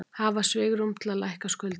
Hafa svigrúm til að lækka skuldir